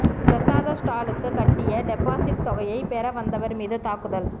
பிரசாத ஸ்டாலுக்கு கட்டிய டெபாசிட் தொகையை பெற வந்தவர் மீது தாக்குதல்